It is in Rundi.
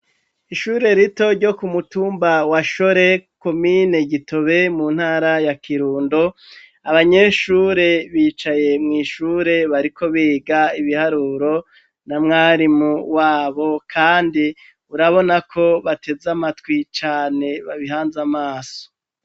Ishure rito ryo ku mutumba wa shore komine gitobe mu ntara ya kirundo abanyeshure bicaye mu ishure bariko biga ibiharuro na mwarimu wabo kandi urabona ko bateze amatwi cane babihanze amaso.